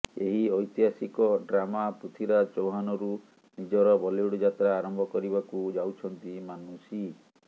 ଏହି ଐତିହାସିକ ଡ୍ରାମା ପୃଥ୍ବୀରାଜ ଚୌହାନରୁ ନିଜର ବଲିଉଡ୍ ଯାତ୍ରା ଆରମ୍ଭ କରିବାକୁ ଯାଉଛନ୍ତି ମାନୁଷୀ